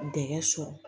Dɛgɛ sɔrɔ